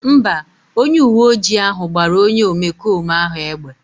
Mba, onye uwe ojii ahụ gbara onye omekome ahụ egbe